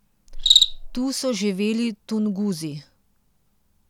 Tu so živeli Tunguzi.